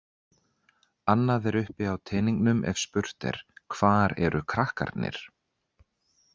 Annað er uppi á teningnum ef spurt er: hvar eru krakkarnir?